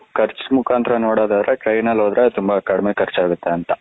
ಕರ್ಚು ಮುಖಾಂತರ ನೋದೊದದ್ರೆ ಟ್ರೈನ್ ನಲ್ಲಿ ಹೋದ್ರೆ ತುಂಬ ಕಡಮೆ ಕರ್ಜು ಆಗುತೆ ಅಂತ.